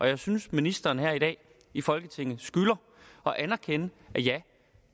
jeg synes ministeren her i dag i folketinget skylder at anerkende at